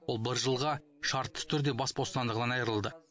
ол бір жылға шартты түрде бас бостандығынан айырылды